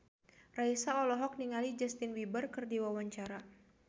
Raisa olohok ningali Justin Beiber keur diwawancara